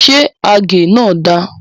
Ṣé àgé náà da?